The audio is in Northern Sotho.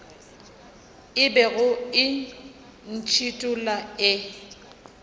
e bego e ntšhithola e